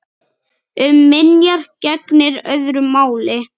Um minjar gegnir öðru máli.